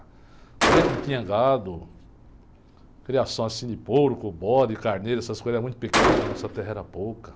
A gente não tinha gado, criação assim de porco, bode, carneiro, essas coisas eram muito pequenas, a nossa terra era pouca.